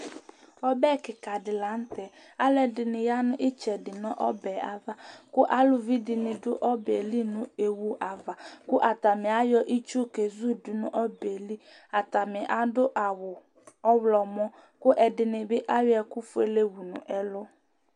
Ɔbɛ kìka di la ntɛ Alʋɛdìní ya nu itsɛdi nʋ ɔbɛ ava kʋ alʋvi dìní du ɔbɛ li nʋ iwe ava kʋ atani ayɔ itsu kezudu nʋ ɔbɛ li Atani adu awu ɔwlɔmɔ kʋ ɛdíni bi ayɔ ɛku fʋele wu ɛlu